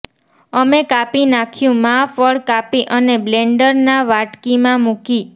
અમે કાપી નાંખ્યું માં ફળ કાપી અને બ્લેન્ડર ના વાટકી માં મૂકી